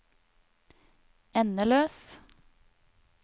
endeløs